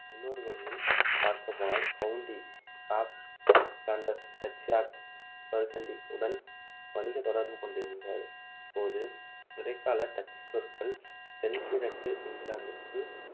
இன்னொரு வழியில் பார்க்கப்போனால் county of Flanders, duchy of Burgundy உடன் வணிக தொடர்பு கொண்டிருந்த போது இடைக்கால டச் சொற்கள் தென் கிழக்கு இங்கிலாந்துக்குள்